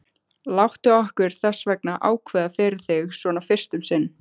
Láttu okkur þessvegna ákveða fyrir þig, svona fyrst um sinn.